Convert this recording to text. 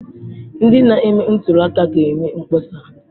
Ndị na-eme ntuli aka ga-eme mkpọsa.